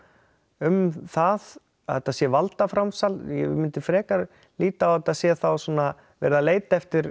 um það að þetta sé valdaframsal ég myndi frekar líta á þetta sé þá svona verið að leita eftir